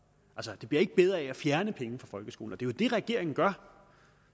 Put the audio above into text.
det bliver ikke bedre af at fjerne penge fra folkeskolen jo det regeringen gør